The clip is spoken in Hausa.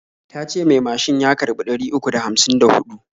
Tace mai macin ya karɓi ɗari uku da hamsin da huɗu.